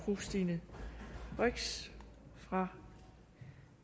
fru stine brix fra